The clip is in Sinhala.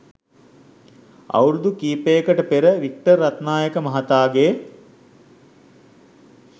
අවුරුදු කිහිපයකට පෙර වික්ටර් රත්නායක මහතාගේ